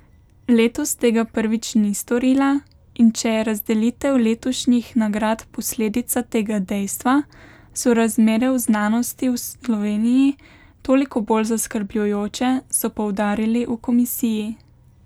Letos tega prvič ni storila in če je razdelitev letošnjih nagrad posledica tega dejstva, so razmere v znanosti v Sloveniji toliko bolj zaskrbljujoče, so poudarili v komisiji.